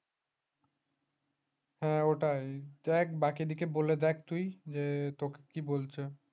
হ্যাঁ ওটাই দেখ বাকি দিকে বলে দেখ তুই যে তোকে কি বলছে